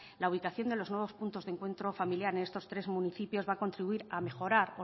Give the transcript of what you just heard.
la ubicación de los nuevos puntos de encuentro familiar en estos tres municipios va a contribuir a mejorar